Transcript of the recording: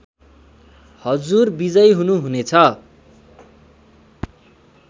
हजुर विजयी हुनु हुनेछ